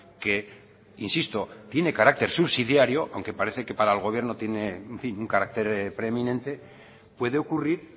que insisto tiene carácter subsidiario aunque parece que para el gobierno tiene un carácter preeminente puede ocurrir